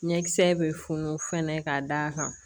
Ɲɛkisɛ bɛ funu fɛnɛ ka d'a kan